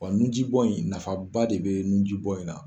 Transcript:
Wa nu ji bɔn in, nafa ba de bɛ nu ji bɔn in na.